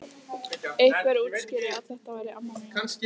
Einhver útskýrði að þetta væri amma mín.